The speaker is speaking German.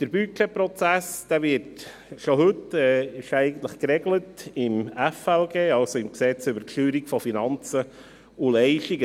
Der Budgetprozess ist eigentlich bereits heute im Gesetz über die Steuerung von Finanzen und Leistungen (FLG) geregelt.